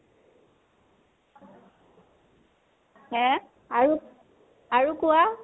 আৰু, আৰু কোৱা